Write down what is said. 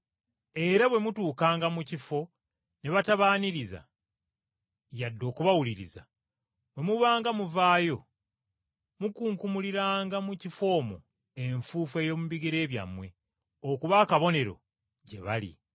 Era bwe mutuukanga mu kifo ne batabaaniriza yadde okubawuliriza, bwe mubanga muvaayo mukunkumuliranga mu kifo omwo enfuufu ey’omu bigere byammwe, okuba akabonero gye bali.”